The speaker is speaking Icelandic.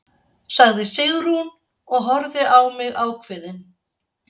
sagði Sigrún og horfði á mig ákveðin.